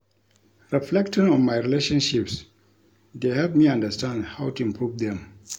Reflecting on my relationships dey help me understand how to improve them.